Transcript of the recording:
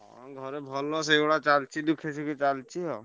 ହଁ ଘରେ ଭଲ ସେଇଭଳିଆ ଚାଲଚି ଦୁଃଖେ ସୁଖେ ଚାଲଚି ଆଉ।